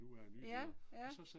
Ja, ja